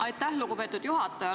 Aitäh, lugupeetud juhataja!